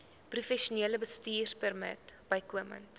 professionele bestuurpermit bykomend